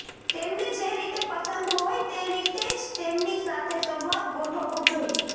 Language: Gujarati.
તેમને જે રીતે પસંદ હોય તે રીતે જ તેમની સાથે સંવાદ ગોઠવવો જોઇએ